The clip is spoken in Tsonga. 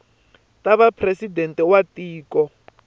ta va presidente wa tiko